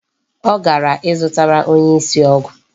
Ọ gara ịzụtara onye isi ọgwụ.